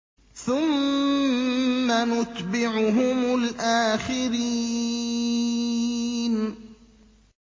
ثُمَّ نُتْبِعُهُمُ الْآخِرِينَ